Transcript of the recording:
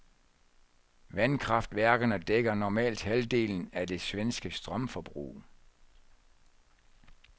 Vandkraftværkerne dækker normalt halvdelen af det svenske strømforbrug.